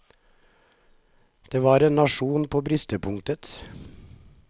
Det var en nasjon på bristepunktet.